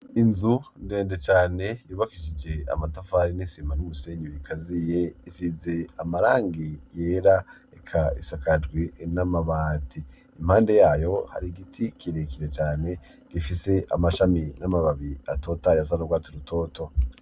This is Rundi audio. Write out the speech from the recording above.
Inzu ndende cane yubakishije amatafari n'isima numusenyi rikaziye ,isize amarangi yera eka isakajwe n'amabati, impande yayo har' igiti kirekere cane, gifise amashami n'amababi atotahaye asa n'urwatsi rutoto.